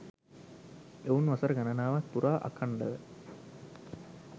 ඔවුන් වසර ගණනාවක් පුරා අඛන්ඩව